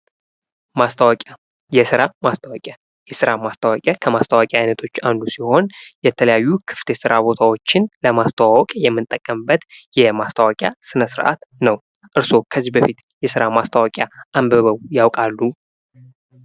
ማስታወቂያ የስራ ማስታወቂያ የስራ ማስታወቂያ ከማስታወቂያ አይነቶች ውስጥ አንዱ ሲሆን የተለያዩ ክፍት የስራ ቦታዎችን ለማስተዋወቅ የምንጠቀምበት የማስታወቂያ ስነስርዓት ነው። እርስዎ ከዚህ በፊት የስራ ማስታወቂያ አንብበው ያውቃሉ?